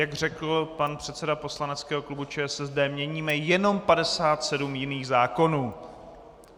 Jak řekl pan předseda poslaneckého klubu ČSSD, měníme jenom 57 jiných zákonů.